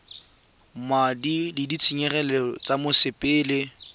madi a ditshenyegelo tsa mosepele